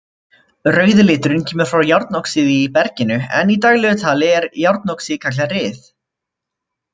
Rauði liturinn kemur frá járnoxíði í berginu en í daglegu tali er járnoxíð kallað ryð.